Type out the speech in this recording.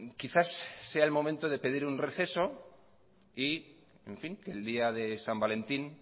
quizás sea el momento de pedir un receso y que el día san valentín